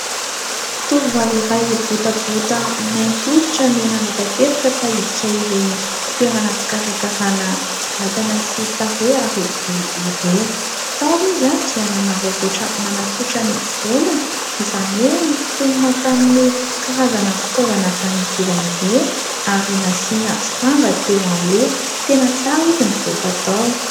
Tovovavy iray botabota mainty hoditra no nanapa-kevitra fa iditra ireny toerana fikarakarana vatana sy tarehy ary volo ireny. Tao izy dia nanararaotra nanatsotra ny volony izany hoe nosintomina tamin'ny karazana fitaovana avy any ivelany ireny ary nasiana sanga teo aloha. Tena tsara izy nivoaka tao.